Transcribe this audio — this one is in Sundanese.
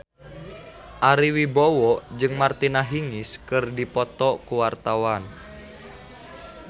Ari Wibowo jeung Martina Hingis keur dipoto ku wartawan